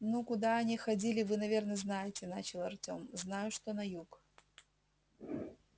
ну куда они ходили вы наверное знаете начал артём знаю что на юг